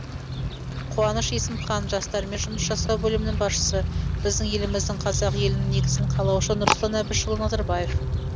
қуаныш есімхан жастармен жұмыс жасау бөлімінің басшысы біздің еліміздің қазақ елінің негізін қалаушы нұрсұлтан әбішұлы назарбаев